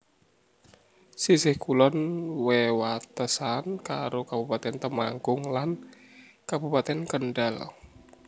Sisih kulon wewatesan karo Kabupatèn Temanggung lan Kabupatèn Kendhal